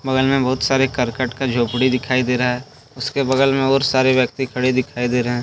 बगल में बहुत करकट का झोपडी दिखाई दे रहा हैउसके बगल मे और सारे व्यक्ति खड़े दिखाई दे रहे हैं।